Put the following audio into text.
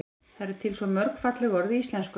það eru til svo mörg falleg orð í íslenksu